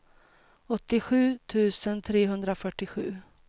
åttiosju tusen trehundrafyrtiosju